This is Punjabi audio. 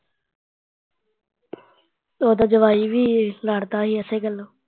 ਉਹਦਾ ਜਵਾਈ ਵੀ ਲੜਦਾ ਸੀ ਏਸੇ ਗੱਲੋਂ